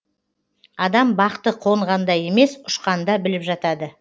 адам бақты қонғанда емес ұшқанда біліп жатады